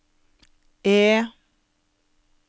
E